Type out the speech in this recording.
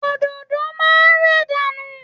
Òdòdó máa ń rẹ̀ dànù.